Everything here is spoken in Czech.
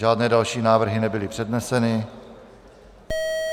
Žádné další návrhy nebyly předneseny.